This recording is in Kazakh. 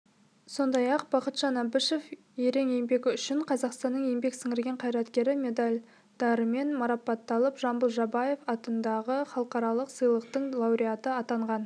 сондай-ақ бақытжан әбішев ерен еңбегі үшін қазақстаның еңбек сіңірген қайраткері медальдарымен марапатталып жамбыл жабаев атындағы халықаралық сыйлықтың лауреаты атанған